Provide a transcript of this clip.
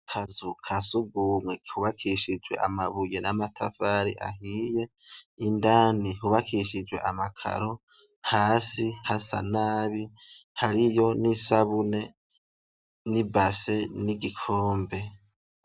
Akazu kasugumwe kubakishijwe amabuye namatafari ahiye indani hubakishijwe amakaro hasi hasa nabi hariyo nisabuni nibase nigikombe